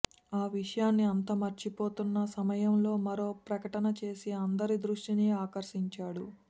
ఆ విషయాన్ని అంతా మర్చిపోతున్న సమయంలో మరో ప్రకటన చేసి అందరి దృష్టిని ఆకర్షించాడు